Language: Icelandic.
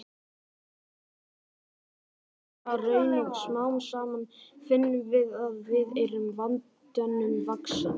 Við styrkjumst við hverja raun og smám saman finnum við að við erum vandanum vaxin.